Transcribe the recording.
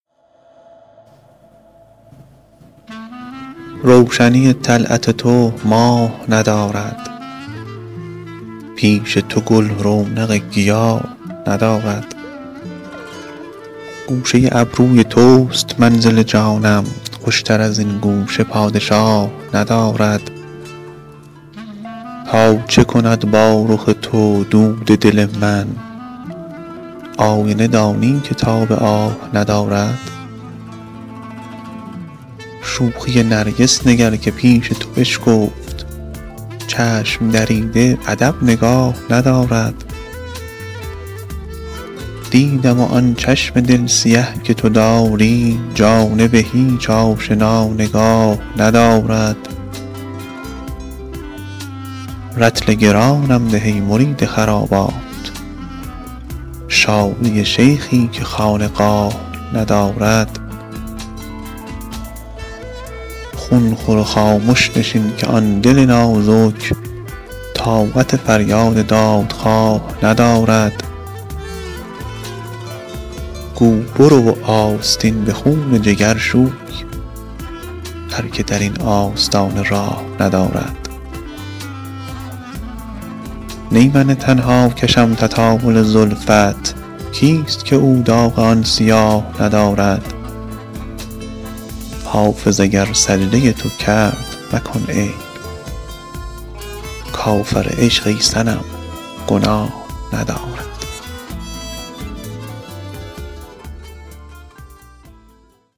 روشنی طلعت تو ماه ندارد پیش تو گل رونق گیاه ندارد گوشه ابروی توست منزل جانم خوشتر از این گوشه پادشاه ندارد تا چه کند با رخ تو دود دل من آینه دانی که تاب آه ندارد شوخی نرگس نگر که پیش تو بشکفت چشم دریده ادب نگاه ندارد دیدم و آن چشم دل سیه که تو داری جانب هیچ آشنا نگاه ندارد رطل گرانم ده ای مرید خرابات شادی شیخی که خانقاه ندارد خون خور و خامش نشین که آن دل نازک طاقت فریاد دادخواه ندارد گو برو و آستین به خون جگر شوی هر که در این آستانه راه ندارد نی من تنها کشم تطاول زلفت کیست که او داغ آن سیاه ندارد حافظ اگر سجده تو کرد مکن عیب کافر عشق ای صنم گناه ندارد